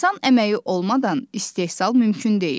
İnsan əməyi olmadan istehsal mümkün deyil.